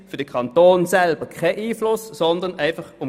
Auf den Kanton hat das keinen Einfluss.